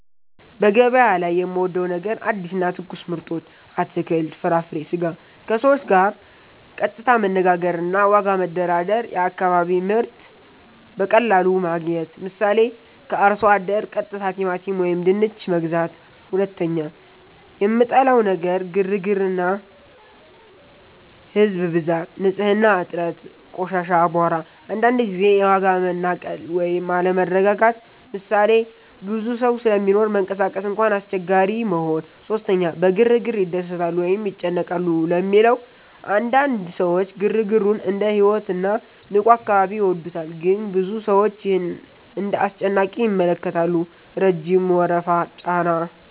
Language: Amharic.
) በገበያ ላይ የምወዴው ነገር አዲስ እና ትኩስ ምርቶች (አትክልት፣ ፍራፍሬ፣ ስጋ) ከሰዎች ጋር ቀጥታ መነጋገር እና ዋጋ መደራደር የአካባቢ ምርት በቀላሉ ማግኘት 👉 ምሳሌ፦ ከአርሶ አደር ቀጥታ ቲማቲም ወይም ድንች መግዛት 2) የምጠላው ነገር ግርግር እና ህዝብ ብዛት ንጽህና እጥረት (ቆሻሻ፣ አቧራ) አንዳንድ ጊዜ የዋጋ መናቀል ወይም አለመረጋጋት ምሳሌ፦ ብዙ ሰው ስለሚኖር መንቀሳቀስ እንኳን አስቸጋሪ መሆን 3) በግርግር ይደሰታሉ ወይስ ይጨነቃሉ ለሚለው? አንዳንድ ሰዎች ግርግሩን እንደ ሕይወት እና ንቁ አካባቢ ይወዱታል ግን ብዙ ሰዎች ይህን እንደ አስጨናቂ ይመለከታሉ (ረጅም ወረፋ፣ ጫና)